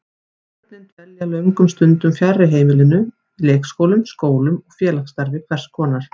Börnin dvelja löngum stundum fjarri heimilinu, í leikskólum, skólum og félagsstarfi hvers konar.